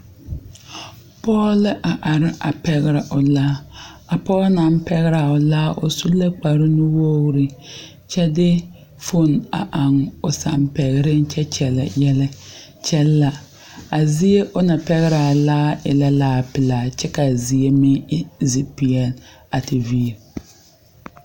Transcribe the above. Pɔɡe la a are a pɛɡerɛ o laa a pɔɡe na pɛɡerɛ a laa o su la kparnuwoɡri kyɛ de foon eŋ o sampɛɡereŋ kyɛ kyɛllɛ yɛlɛ kyɛ la a zie o na pɛɡerɛ a laare e laapelaa kyɛ ka a zie meŋ e zikpeɛre a te viiri.